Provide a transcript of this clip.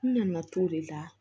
N nana t'o de la